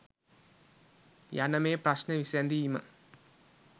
යන මේ ප්‍රශ්න විසැඳීම